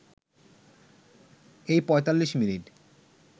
এই ৪৫ মিনিট